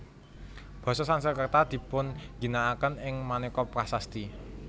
Basa Sanskerta dipunginakaken ing maneka prasasti